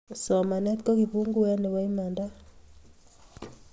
somanet ko kifunguet Nepo imanda